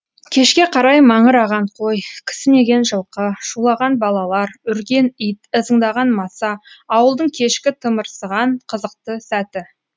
кешке қарай маңыраған қой кісінеген жылқы шулаған балалар үрген ит ызыңдаған маса ауылдың кешкі тымырсыған қызықты сәті